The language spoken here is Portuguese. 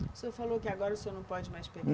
O senhor falou que agora o senhor não pode mais